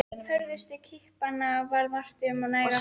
Hörðustu kippanna varð vart um nær allt land.